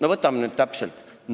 Aga võtame nüüd täpsemalt.